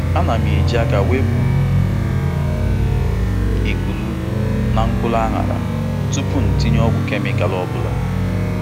Ana m eji aka wepụ ikpuru na mkpụrụ ághará tupu itinye ọgwụ kemịkal ọ bụla.